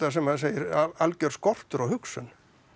sem maður segir algjör skortur á hugsun